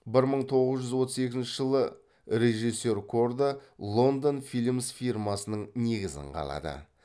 бір мың тоғыз жүз отыз екінші жылы режиссер корда лондон филмс фирмасының негізін қалады